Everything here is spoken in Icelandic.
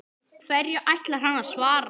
Hverju ætlar hann að svara?